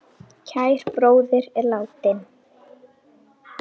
Kær bróðir er látinn.